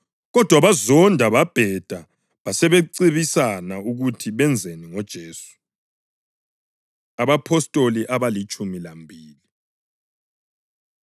Kodwa bazonda babheda basebecebisana ukuthi benzeni ngoJesu. AbaPostoli Abalitshumi Lambili